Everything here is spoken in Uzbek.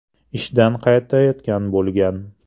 ishdan qaytayotgan bo‘lgan.